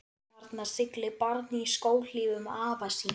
Þarna siglir barn í skóhlífum afa síns.